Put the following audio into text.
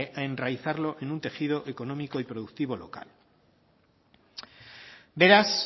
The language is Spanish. a enraizarlo en un tejido económico y productivo local beraz